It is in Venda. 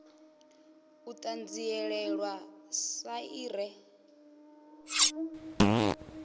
u ṱanzilelwa sa i re